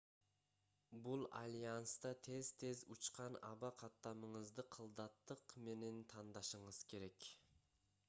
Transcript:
бул альянста тез-тез учкан аба каттамыңызды кылдаттык менен тандашыңыз керек